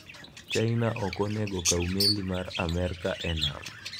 China ok onego okaw meli mar Amerka e nam